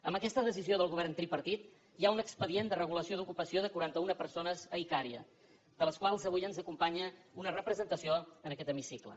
amb aquesta decisió del govern tripartit hi ha un expedient de regulació d’ocupació de quaranta una persones a icària de les quals avui ens acompanya una representació en aquest hemicicle